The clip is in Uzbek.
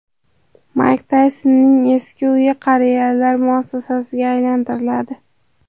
Mayk Taysonning eski uyi qariyalar muassasasiga aylantiriladi.